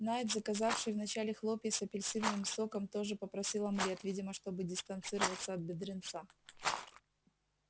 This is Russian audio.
найд заказавший вначале хлопья с апельсиновым соком тоже попросил омлет видимо чтобы дистанцироваться от бедренца